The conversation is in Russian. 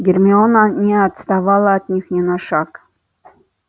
гермиона не отставала от них ни на шаг